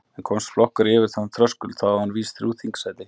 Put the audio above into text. En komist flokkur yfir þennan þröskuld þá á hann vís þrjú þingsæti.